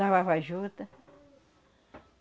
Lavava a juta.